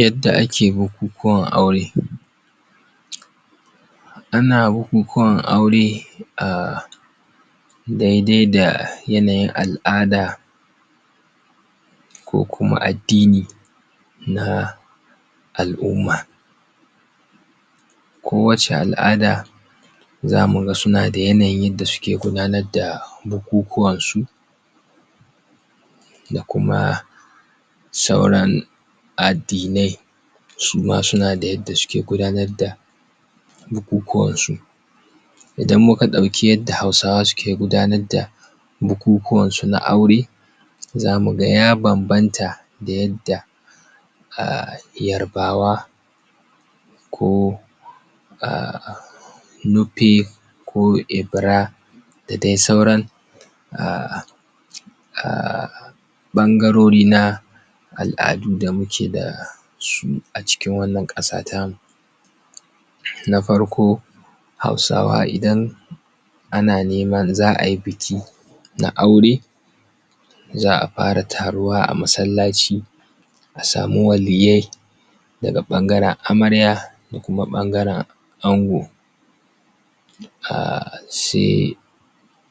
Yadda ake bukukuwan aure Ana bukukuwan aure daidai da yanayin al’ada ko kuma addini na al'umma ko wacce al'ada za mu ga suna da yanayin yadda suke gudanar da bukukuwan su da kuma sauran addinai su ma suna da yadda suke gudanar da bukukuwansu Idan muka ɗauki yadda hausawa suke gudanar da bukukuwan sun a aure za mu ya bambanta da yadda yarbawa ko nupe ko ibira da dai sauran ɓangarori na al’adu da muke da su a cikin wanan ƙasa ta mu Na farko hausawa idan ana neman za a yi biki na aure za a fara taruwa a masallaci a samu waliyyai daga ɓangaren amarya da kuma ɓangaren ango sai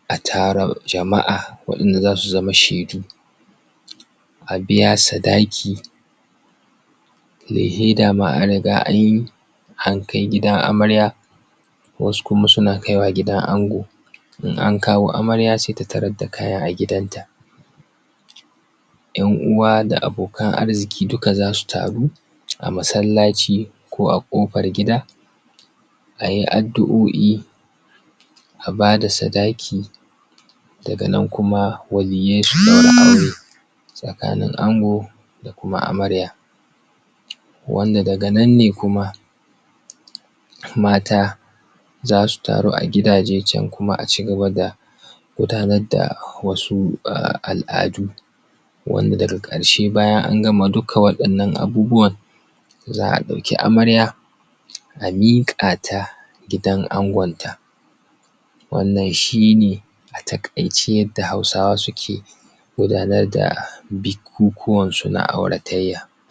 a tara jama’a waɗanda za su zama shaidu a biya sadaki lehe dama an riga anyi, an kai gidan amarya wasu kuma suna kai wa gidan ango in an kawo amarya sai ta tarar da kayan ta a gidan ta ‘Yan uwa da abokan arziki dukka za su taru a masallaci ko a ƙofar gida ayi addu’o’I a ba da sadaki daga nan kuma waliyyai su ɗaura aure tsakanin ango da kuma amarya wanda daga nan ne kuma mata zasu taru a gidaje can kuma a cigaba da gudanar da wasu al'adu wanda daga ƙarshe bayan an gama dukka wadannan abubuwan za a ɗauki amarya a miƙa ta gidan angonta Wannan shine a taƙaice yadda hausawa suke gudanar da bukukuwansu na auratayya